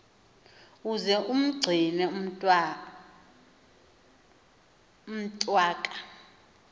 uze umgcine umntwaka